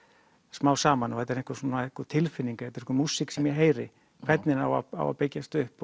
smám saman og þetta er einhver einhver tilfinning þetta er einhver músík sem ég heyri hvernig á að byggjast upp